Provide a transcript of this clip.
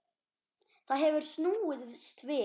Það hefur snúist við.